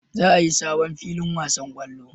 Za a yi sabon filin wasan kwallo